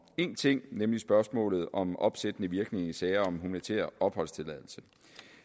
én ting nemlig spørgsmålet om opsættende virkning i sager om humanitær opholdstilladelse